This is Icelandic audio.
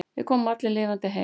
Við komum allir lifandi heim.